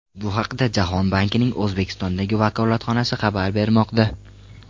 Bu haqda Jahon bankining O‘zbekistondagi vakolatxonasi xabar bermoqda.